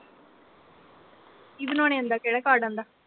ਕੀ ਬਣਾਉਣੇ ਆਉਂਦਾ ਕਿਹਦਾ ਕਾਡ ਬਣਾਉਣਾ ਆਉਂਦਾ